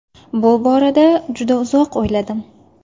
Bu borada juda uzoq o‘yladim.